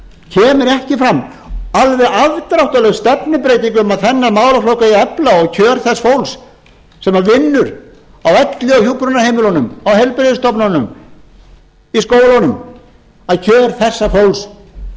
heilbrigðismálum kemur ekki fram alveg afdráttarlaus stefnubreyting um að þennan málaflokk eigi að efla og kjör þess fólks sem vinnur á elli og hjúkrunarheimilunum og heilbrigðisstofnunum í skólunum kjör þessa fólks eigi að